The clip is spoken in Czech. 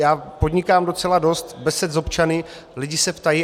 Já podnikám docela dost besed s občany, lidé se ptají.